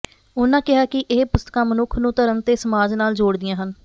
ਉਹਨਾਂ ਕਿਹਾ ਕਿ ਇਹ ਪੁਸਤਕਾਂ ਮਨੁੱਖ ਨੂੰ ਧਰਮ ਤੇ ਸਮਾਜ ਨਾਲ ਜੋੜਦੀਆਂ ਹਨ